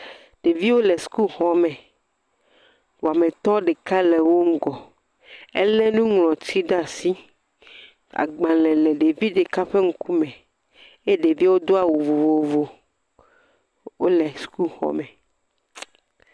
Ɖeviwo le sukuxɔme, wametɔ ɖeka le wo ŋgɔ ele nuŋlɔti ɖe asi, agbalẽ le ɖevi ɖeka ƒe ŋkume, eye ɖeviawo do awu vovovo, wole sukuxɔme.